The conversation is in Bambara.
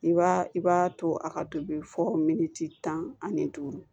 I b'a i b'a to a ka tobi fo miniti tan ani duuru